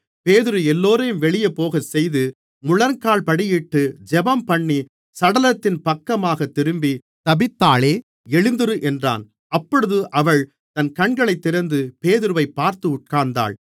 பேதுரு எல்லோரையும் வெளியே போகச்செய்து முழங்காற்படியிட்டு ஜெபம்பண்ணி சடலத்தின் பக்கமாக திரும்பி தபீத்தாளே எழுந்திரு என்றான் அப்பொழுது அவள் தன் கண்களைத் திறந்து பேதுருவைப் பார்த்து உட்கார்ந்தாள்